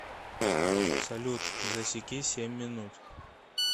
салют засеки семь минут